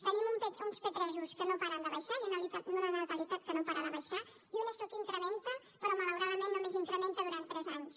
tenim uns p3 que no paren de baixar i una natalitat que no para de baixar i una eso que incrementa però malauradament només incrementa durant tres anys